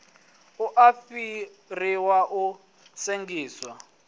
u a fariwa a sengisiwa